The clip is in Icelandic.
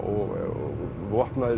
vopnaðir